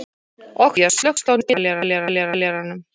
Oktavías, slökktu á niðurteljaranum.